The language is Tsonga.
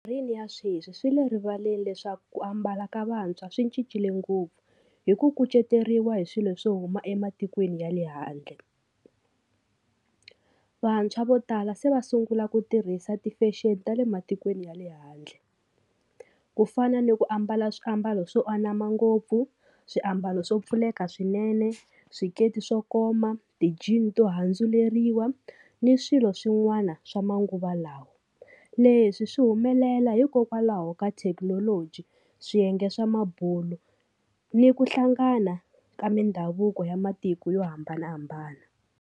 Rini ya sweswi swi le rivaleni leswaku ku ambala ka vantshwa swi cincile ngopfu hi ku kuceteriwa hi swilo swo huma ematikweni ya le handle. Vantshwa vo tala se va sungula ku tirhisa ti-fashion ta le matikweni ya le handle ku fana ni ku ambala swiambalo swo anama ngopfu, swiambalo swo pfuleka swinene, swikete swo koma, ti-jean to handzuleriwa ni swilo swin'wana swa manguva lawa, leswi swi humelela hikokwalaho ka thekinoloji swiyenge swa mabulo ni ku hlangana ka mindhavuko ya matiko yo hambanahambana.